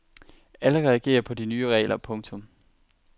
Alle reagerer på de nye regler. punktum